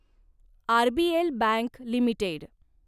RBL bank limited